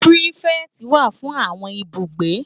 Pirifèti wá fún áwòn ibúgbé